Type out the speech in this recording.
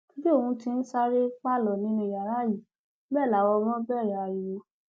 bí òun ti ń sáré pálọ nínú yàrá yìí bẹẹ làwọn ọmọ ẹ bẹrẹ ariwo